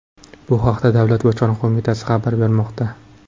Bu haqda Davlat bojxona qo‘mitasi xabar bermoqda .